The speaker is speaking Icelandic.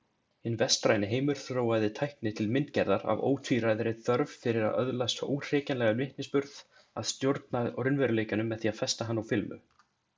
Hinn vestræni heimur þróaði tækni til myndgerðar af ótvíræðri þörf fyrir að öðlast óhrekjanlegan vitnisburð, að stjórna raunveruleikanum með því að festa hann á filmu.